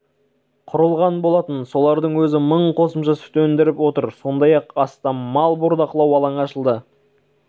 құрылған болатын солардың өзі мың қосымша сүт өндіріп отыр сондай-ақ астам мал бордақылау алаңы ашылды